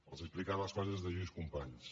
els he explicat les frases de lluís companys